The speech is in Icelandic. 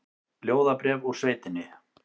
Ljóðabréf úr sveitinni